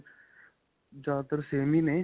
ਜਿਆਦਾਤਰ same ਹੀ ਨੇ.